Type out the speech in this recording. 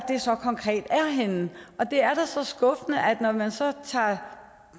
henne og det er da skuffende når man tager